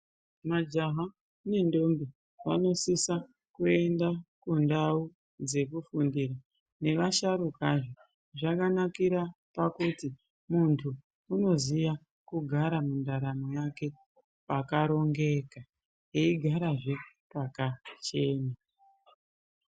Majaha nendombi vanosisa kuenda kundawu dzekufundira navasharuka zvee zvakanakira pakuti mundu unoziya kugara mundaramo yake pakarongeka uyezvee eyigara pakachena.